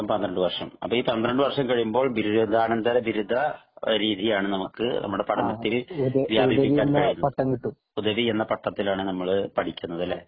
പന്ത്രണ്ട് വര്ഷം അപ്പൊ ഈ പന്ത്രണ്ടു വർഷം കഴിയുമ്പോൾ ബിരുദാനന്തര ബിരുദ രീതിയാണ് നമ്മുടെ പഠനത്തിൽ ഹുദവി എന്ന പാട്ടത്തിലാണ് നമ്മൾ പഠിക്കുന്നത് അല്ലെ